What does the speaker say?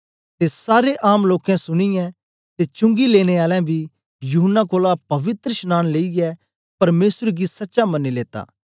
ते सारे आम लोकें सुनीयै ते चुंगी लेने आलें बी यूहन्ना कोलां पवित्रशनांन लेईयै परमेसर गी सचा मनी लेत्ता